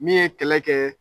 Min ye kɛlɛ kɛ